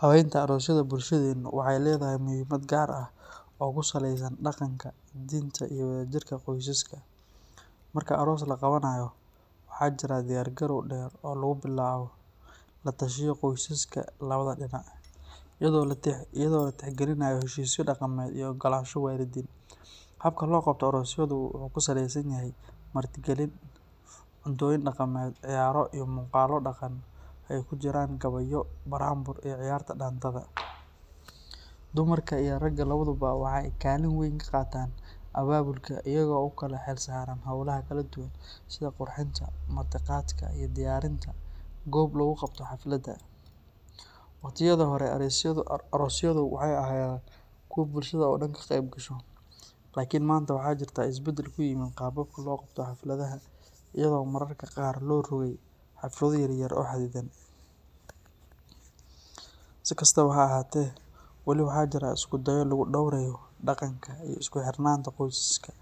Habaynta aroosyada bulshadeennu waxay leedahay muhiimad gaar ah oo ku saleysan dhaqanka, diinta iyo wadajirka qoysaska. Marka aroos la qabanayo, waxaa jira diyaar garow dheer oo lagu bilaabo la tashiyo qoysaska labada dhinac, iyadoo la tixgelinayo heshiisyo dhaqameed iyo oggolaansho waalidiin. Habka loo qabto aroosyadu wuxuu ku salaysan yahay martigelin, cuntooyin dhaqameed, ciyaaro, iyo muuqaallo dhaqan oo ay ku jiraan gabayo, buraanbur, iyo ciyaarta dhaantada. Dumarka iyo ragga labaduba waxay kaalin weyn ka qaataan abaabulka, iyagoo u kala xilsaaran howlaha kala duwan sida qurxinta, martiqaadka, iyo diyaarinta goobo lagu qabto xafladda. Waqtiyadii hore, aroosyadu waxay ahaayeen kuwo bulshada oo dhan ka qayb gasho, laakin maanta waxaa jirta isbeddel ku yimid qaababka loo qabto xafladaha, iyadoo mararka qaar loo rogay xaflado yar yar oo xadidan. Si kastaba ha ahaatee, weli waxaa jira isku dayo lagu dhowrayao dhaqanka iyo isku xirnaanta qoysaska